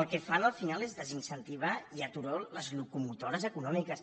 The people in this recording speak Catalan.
el que fan al final és desincentivar i aturar les locomotores econòmiques